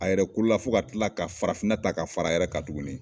A yɛrɛ kolo la fo ka kila ka farafinna ta ka fara a yɛrɛ ka tuguni.